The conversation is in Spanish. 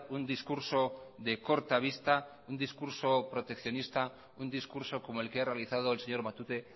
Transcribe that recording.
un discurso de corta vista un discurso proteccionista un discurso como el que ha realizado el señor matute